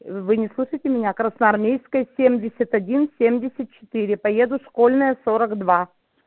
вы не слышите меня красноармейской семьдесят один семь десять четыре поеду школьная сорок два